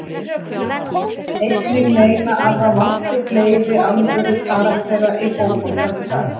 Máni vill einnig meina að það vanti fleiri alvöru karaktera í fótboltann í dag.